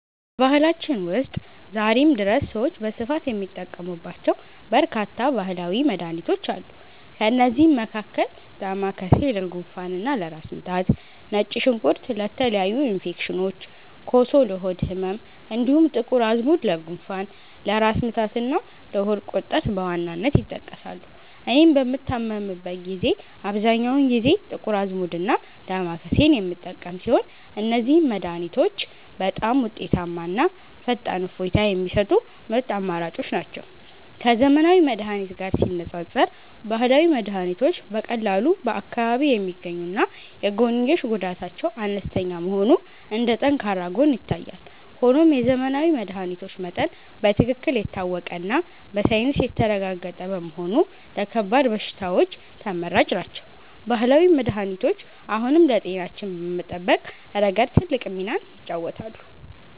በባህላችን ውስጥ ዛሬም ድረስ ሰዎች በስፋት የሚጠቀሙባቸው በርካታ ባህላዊ መድኃኒቶች አሉ። ከእነዚህም መካከል ዳማከሴ ለጉንፋንና ለራስ ምታት፣ ነጭ ሽንኩርት ለተለያዩ ኢንፌክሽኖች፣ ኮሶ ለሆድ ህመም፣ እንዲሁም ጥቁር አዝሙድ ለጉንፋን፣ ለራስ ምታትና ለሆድ ቁርጠት በዋናነት ይጠቀሳሉ። እኔም በምታመምበት ጊዜ አብዛኛውን ጊዜ ጥቁር አዝሙድና ዳማከሴን የምጠቀም ሲሆን፣ እነዚህ መድኃኒቶች በጣም ውጤታማና ፈጣን እፎይታ የሚሰጡ ምርጥ አማራጮች ናቸው። ከዘመናዊ መድኃኒት ጋር ሲነፃፀር፣ ባህላዊ መድኃኒቶች በቀላሉ በአካባቢ የሚገኙና የጎንዮሽ ጉዳታቸው አነስተኛ መሆኑ እንደ ጠንካራ ጎን ይታያል። ሆኖም የዘመናዊ መድኃኒቶች መጠን በትክክል የታወቀና በሳይንስ የተረጋገጠ በመሆኑ ለከባድ በሽታዎች ተመራጭ ናቸው። ባህላዊ መድኃኒቶች አሁንም ለጤናችን በመጠበቅ ረገድ ትልቅ ሚናን ይጫወታሉ።